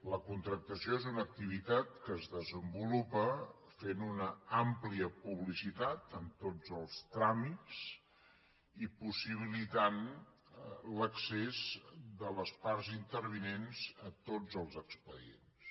la contractació és una activitat que es desenvolupa fent una àmplia publicitat en tots els tràmits i possibilitant l’accés de les parts intervinents a tots els expedients